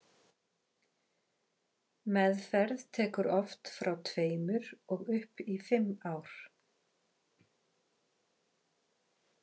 Meðferð tekur oft frá tveimur og upp í fimm ár.